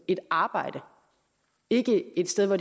et arbejde ikke et sted hvor